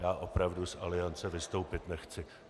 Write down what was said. Já opravdu z Aliance vystoupit nechci.